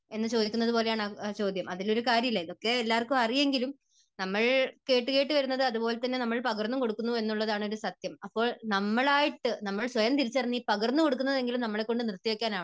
എന്ന് ചോദിക്കുന്നത് പോലെയാണ് ആ ചോദ്യം. അതിൽ ഒരു കാര്യവുമില്ല. ഇതൊക്കെ എല്ലാവർക്കും അറിയാമെങ്കിലും നമ്മൾ കേട്ടുകേട്ട് വരുന്നത് അതുപോലെതന്നെ നമ്മൾ പകർന്നും കൊടുക്കുന്നു എന്നുള്ളത് ആണ് ഒരു സത്യം. അപ്പോൾ നമ്മൾ ആയിട്ട്, നമ്മൾ സ്വയം തിരിച്ചറിഞ്ഞ് ഈ പകർന്നു കൊടുക്കുന്നത് എങ്കിലും നമ്മളെക്കൊണ്ട് നിർത്തിവയ്ക്കാൻ ആകണം.